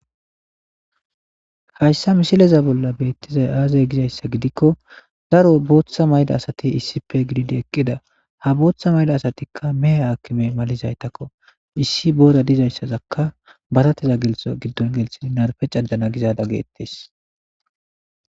hayssa misileza bolla beettizay aazay gizayssa gidikko daro booththa mayda asati issipe gididi eqqida ha booththa mayda asatikka mehe hakkime malizaytakko issi boora dizayssazakka batateza gelsa giddon gelshidi narpe cadana gizada geettes